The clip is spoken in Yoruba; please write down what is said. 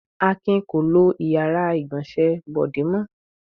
Akin kò lo ìyàrá-ìgbọ̀nsẹ̀ Bọ̀dé mọ́.